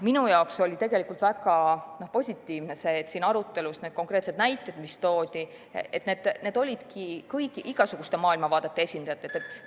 Minu jaoks oli tegelikult väga positiivne see, et kõik need konkreetsed näited, mis siin arutelus välja toodi, olid igasuguste maailmavaadete esindajatelt.